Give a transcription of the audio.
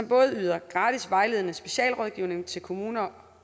både yder gratis vejledende specialrådgivning til kommuner